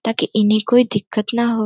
ताकि इन्हे कोंई दिक्कत ना हो।